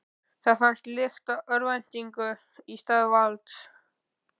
Það fannst lykt af örvæntingu í stað valds.